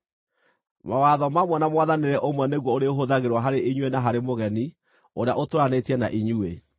Mawatho mamwe na mwathanĩre ũmwe nĩguo ũrĩhũthagĩrwo harĩ inyuĩ na harĩ mũgeni ũrĩa ũtũũranĩtie na inyuĩ.’ ”